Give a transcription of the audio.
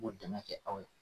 Ŋ'o dan ŋa kɛ aw ye